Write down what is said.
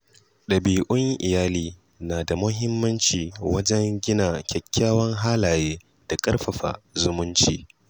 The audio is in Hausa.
Dabi’un iyali na da muhimmanci wajen gina kyawawan halaye da ƙarfafa zumunci.